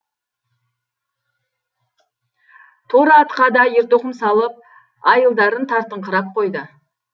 торы атқа да ертоқым салып айылдарын тартыңқырап қойды